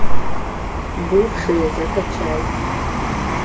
бывшие закачай